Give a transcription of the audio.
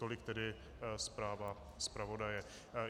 Tolik tedy zpráva zpravodaje.